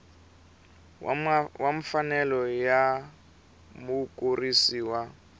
wa mfanelo ya mukurisi wa